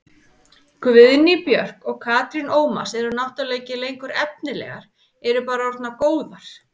Guðný Björk og Katrín Ómars eru náttúrulega ekki lengur efnilegar, eru bara orðnar góðar.